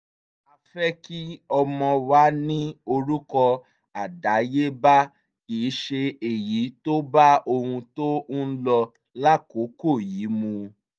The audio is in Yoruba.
a fẹ́ kí ọmọ wa ní orúkọ àdáyébá kì í ṣe èyí tó bá ohun tó ń lọ lákòókò yìí mu